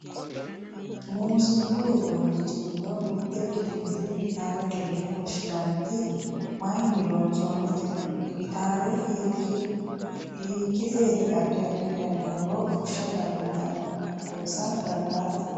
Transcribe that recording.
muuziiqu uduunnichi gido mitte ikkitinoti gitaarete yine woshshinanniti mayiinni loonsannite? gitaare hiikkiteeti addi addi dani huuro fushsha dandiitannohu xawisa dandaatto?